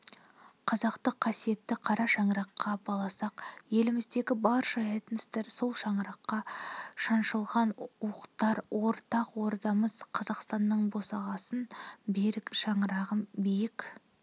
қазақты қасиетті қара шаңыраққа баласақ еліміздегі барша этностар-сол шаңыраққа шаншылған уықтар ортақ ордамыз қазақстанның босағасын берік шаңырағын биік